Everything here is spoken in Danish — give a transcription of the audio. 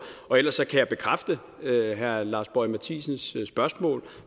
ellers kan jeg bekræfte herre lars boje mathiesens spørgsmål